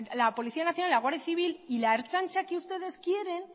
la policía nacional y la guardia civil y la ertzaintza que ustedes quieren